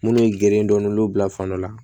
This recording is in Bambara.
Munnu ye gere dɔn n'olu bila fan dɔ la